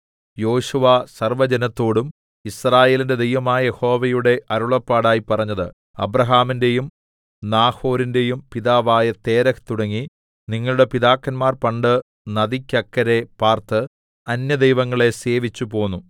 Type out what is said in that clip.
യോശുവ സർവ്വജനത്തോടും യിസ്രായേലിന്റെ ദൈവമായ യഹോവയുടെ അരുളപ്പാടായി പറഞ്ഞത് അബ്രാഹാമിന്‍റെയും നാഹോരിന്റെയും പിതാവായ തേരഹ് തുടങ്ങി നിങ്ങളുടെ പിതാക്കന്മാർ പണ്ട് നദിക്കക്കരെ പാർത്ത് അന്യദൈവങ്ങളെ സേവിച്ചുപോന്നു